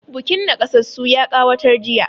Bukin naƙasassu ya ƙawatar jiya.